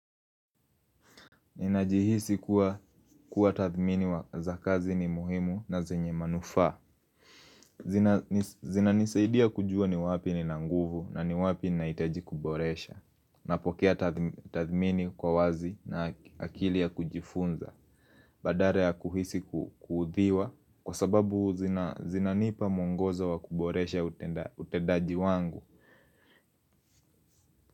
Ninajihisi kuwa tathmini wa za kazi ni muhimu na zenye manufaa. Zinanisaidia kujua ni wapi nina nguvu na ni wapi nahitaji kuboresha. Napokea tathmini kwa wazi na akili ya kujifunza. Badala ya kuhisi kuuthiwa kwa sababu zinanipa mwongozo wa kuboresha utedaji wangu.